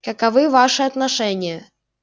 каковы ваши отношения